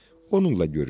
Onunla görüşüm.